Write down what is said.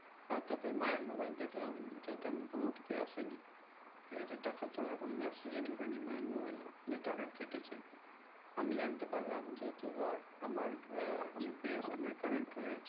আর তারপরে মায়ের mobile দেখলাম যে তেমন কোনো OTP আসে নি ঠিক কাছে টাকা তোলার কোনো message ই ঢোকেনি মায়ের mobile এ যে টাকা কেটেছে আমি জানতে পারলাম যেহুতু ধর আমার আহ UPI এর সঙ্গে connect হয়ে আছে